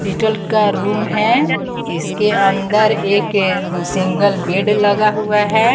का रूम है इसके अंदर एक सिंगल बेड लगा हुआ है।